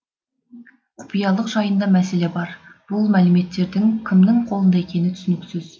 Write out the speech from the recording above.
құпиялық жайында мәселе бар бұл мәліметтердің кімнің қолында екені түсініксіз